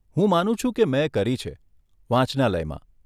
હું માનું છું કે મેં કરી છે, વાંચનાલયમાં.